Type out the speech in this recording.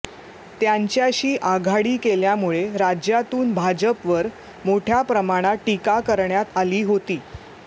त्यांच्याशी आघाडी केल्यामुळे राज्यातून भाजपवर मोठ्याप्रमाणात टीका करण्यात आली होती